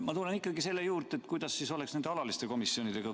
Ma tulen ikkagi selle juurde ja küsin, kuidas siis oleks alatiste komisjonidega.